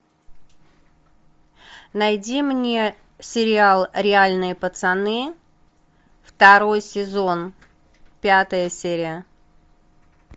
найди мне сериал реальные пацаны второй сезон пятая серия